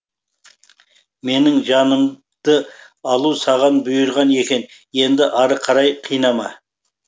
менің жанымды алу саған бұйырған екен енді ары қарай қинама